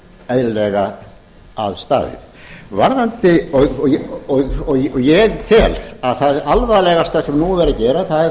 eðlilega að staðið ég tel að það alvarlegasta sem nú hafi verið að gerast